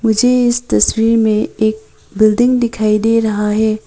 मुझे इस तस्वीर में एक बिल्डिंग दिखाई दे रहा है।